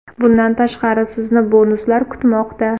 Bundan tashqari, sizni bonuslar kutmoqda!